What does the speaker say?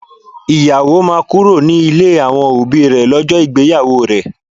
Ìyàwó máa kúrò ní ilé àwọn òbí rè lọ́jọ́ ìgbéyàwó rẹ